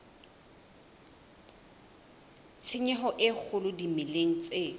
tshenyo e kgolo dimeleng tse